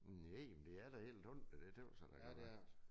Næ men det er da helt hundrede det tøs jeg da det var